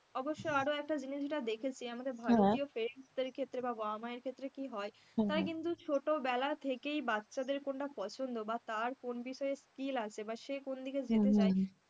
অবশ্য আরো একটা জিনিস যেটা দেখেছে, আমাদের ভারতীয় parents দের ক্ষেত্রে বা বাবা-মার ক্ষেত্রে কি হয় তারা কিন্তু ছোটবেলার থেকেই বাচ্চাদের কোনটা পছন্দ বা তার কোন বিষয়ে skill আছে বা সে কোন দিকে যেতে চায়,